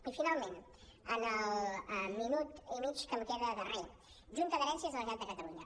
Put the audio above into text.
i finalment en el minut i mig que em queda de re junta d’herències de la generalitat de catalunya